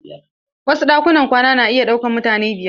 Wasu ɗakunan kwana na iya ɗaukan mutane biyar.